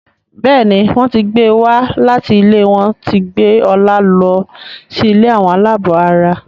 Béèni wón tí gbé wá láti ilé wón tí gbé Ola ló sì ilé Àwọn alabó àrà.